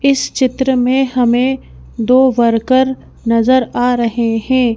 इस चित्र में हमें दो वर्कर नजर आ रहे हैं।